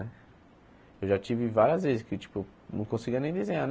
Eu já tive várias vezes que tipo não conseguia nem desenhar.